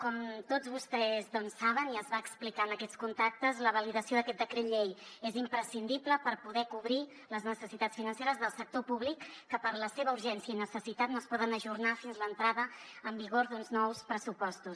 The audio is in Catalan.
com tots vostès saben i es va explicar en aquests contactes la validació d’aquest decret llei és imprescindible per poder cobrir les necessitats financeres del sector públic que per la seva urgència i necessitat no es poden ajornar fins a l’entrada en vigor d’uns nous pressupostos